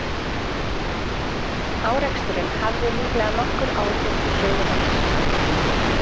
Áreksturinn hafði líklega nokkur áhrif á sögu Mars.